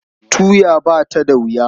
Tuya ba ta da wuya.